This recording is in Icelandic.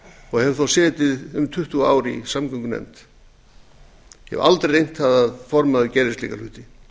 og hef þó setið um tuttugu ár í samgöngunefnd ég hef aldrei reynt það að formaður gerði slíka hluti